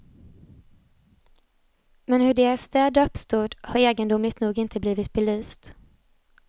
Men hur deras städer uppstod, har egendomligt nog inte blivit belyst.